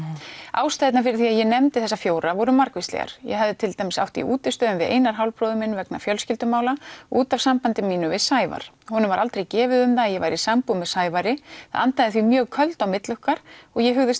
ástæðurnar fyrir því að ég nefndi þessa fjóra voru margvíslegar ég hafði til dæmis átt í útistöðum við Einar hálfbróður minn vegna fjölskyldumála út af sambandi mínu við Sævar honum var aldrei gefið um það að ég væri í sambúð með Sævari það andaði því mjög köldu á milli okkar og ég hugðist